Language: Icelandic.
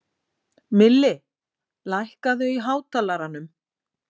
Milli, lækkaðu í hátalaranum.